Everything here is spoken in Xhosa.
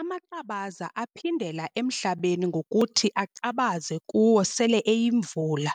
Amaqabaza aphindela emhlabeni ngokuthi aqabaze kuwo sele eyimvula,